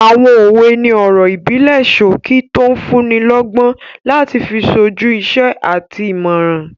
Àwọn òwe ni ọ̀rọ̀ ìbílẹ̀ sókí tó n fúnni lọ́gbọ́n láti fi sójú iṣẹ́ àti ìmọràn